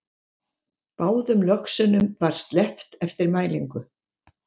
Báðum löxunum var sleppt eftir mælingu